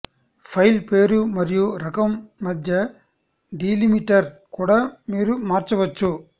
file పేరు మరియు రకం మధ్య డీలిమిటర్ కూడా మీరు మార్చవచ్చు